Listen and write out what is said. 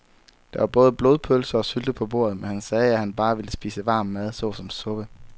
Der var både blodpølse og sylte på bordet, men han sagde, at han bare ville spise varm mad såsom suppe.